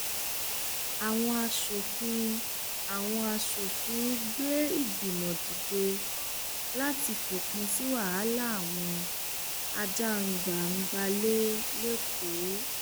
àwọn aṣòfin àwọn aṣòfin gbé ìgbìmọ dìde láti fòpin sí wàhálà àwọn ajàgbàǹgbàlẹ lẹkọọ